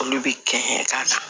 Olu bɛ kɛ ka na